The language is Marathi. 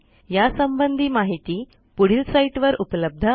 यासंबंधी माहिती पुढील साईटवर उपलब्ध आहे